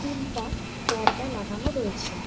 তিনটা পর্দা লাগানো রয়েছে।